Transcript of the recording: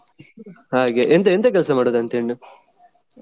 ಹಾಗೆ ಎಂತ ಎಂತ ಕೆಲಸ ಮಾಡುದಂತೆ ಹೆಣ್ಣು.